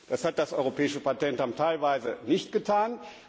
Das hat das Europäische Patentamt teilweise nicht getan.